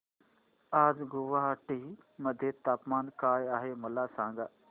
आज गुवाहाटी मध्ये तापमान काय आहे मला सांगा